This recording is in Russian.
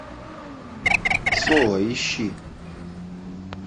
соло ищи